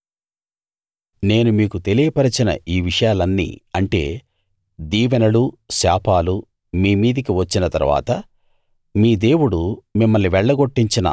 నేను మీకు తెలియపరచిన ఈ విషయాలన్నీ అంటే దీవెనలు శాపాలు మీ మీదికి వచ్చిన తరువాత మీ దేవుడు మిమ్మల్ని వెళ్లగొట్టించిన